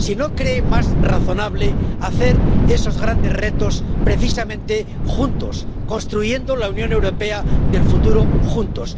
si no cree más razonable hacer frente a esos grandes retos precisamente juntos, construyendo la Unión Europea del futuro juntos.